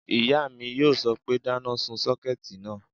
Ìyá mi yóò sọ pé, dáná sun sọ́kẹ̀tì náà!"